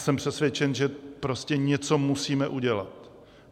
Jsem přesvědčen, že prostě něco musíme udělat.